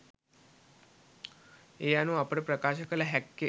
මේ අනුව අපට ප්‍රකාශ කළ හැක්කේ